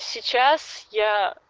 сейчас я